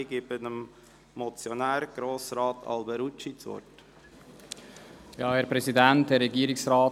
Ich gebe dem Motionär, Grossrat Alberucci, das Wort.